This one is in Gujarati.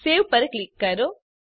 સવે પર ક્લિક કરો